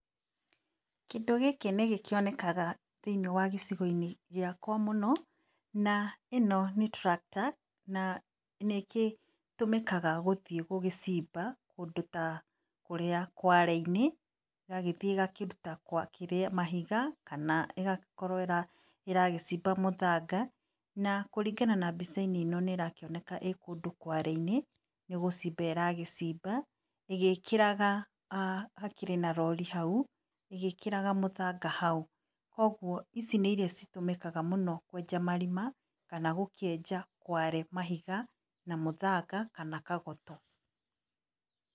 Kĩndũ gĩkĩ nĩgĩkĩonekaga thĩiniĩ wa gĩcigo-inĩ gĩakwa mũno. Na ĩno nĩ tractor na nĩkĩtũmĩkaga gũthiĩ gũcimba kũndũ ta kware-inĩ ĩgagĩthiĩ ĩgakĩruta mahiga kana ĩgagĩkorwo ĩragĩcimba mũthanga na kũringana na mbica-inĩ ino nĩrakĩoneka ĩkũndũ kware inĩ nĩgũcimba ĩragĩcimba ĩgĩkĩraga hakĩrĩ na rori hau ĩgĩkĩraga mũthanga hau. Koguo ici nĩ irĩa citũmĩkaga mũno kwenja marima kana gũkĩenja kware mahiga, mũthanga kana kagoto.